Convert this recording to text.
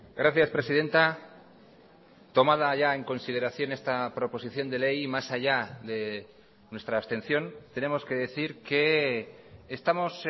gracias presidenta tomada ya en consideración esta proposición de ley y más allá de nuestra abstención tenemos que decir que estamos